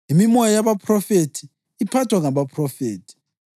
Imimoya yabaphrofethi iphathwa ngabaphrofethi.